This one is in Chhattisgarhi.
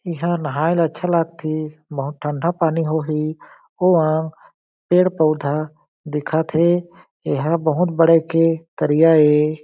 एहा नाहाए ला अच्छा लागतीस बहुत ठंडा पानी होही ओ अंग पेड़-पउधा दिखत हे एहा बहुत बड़े के तरिया ए।